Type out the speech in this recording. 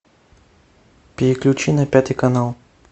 переключи на пятый канал